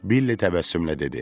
Billi təbəssümlə dedi: